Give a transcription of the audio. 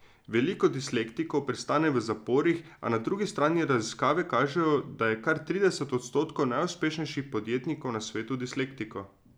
Veliko dislektikov pristane v zaporih, a na drugi strani raziskave kažejo, da je kar trideset odstotkov najuspešnejših podjetnikov na svetu dislektikov.